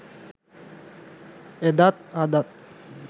එදත්, අදත්